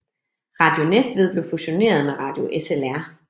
Radio Næstved blev fusioneret med Radio SLR